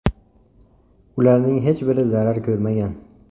Ularning hech biri zarar ko‘rmagan.